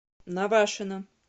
навашино